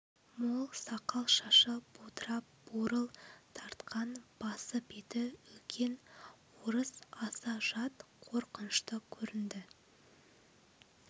мол сақал-шашы будырап бурыл тартқан басы-беті үлкен орыс аса жат қорқынышты көрінді